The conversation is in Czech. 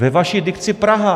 Ve vaší dikci Praha.